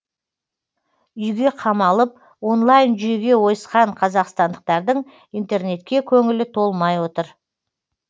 үйге қамалып онлайн жүйеге ойысқан қазақстандықтардың интернетке көңілі толмай отыр